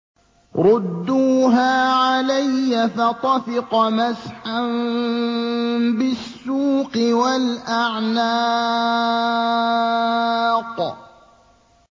رُدُّوهَا عَلَيَّ ۖ فَطَفِقَ مَسْحًا بِالسُّوقِ وَالْأَعْنَاقِ